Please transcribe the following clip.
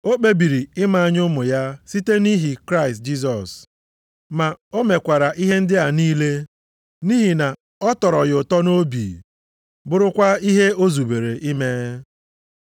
O kpebiri ime anyị ụmụ ya site nʼihi Kraịst Jisọs. Ma o mekwara ihe ndị a niile nʼihi na ọ tọrọ ya ụtọ nʼobi, bụrụkwa ihe o zubere ime.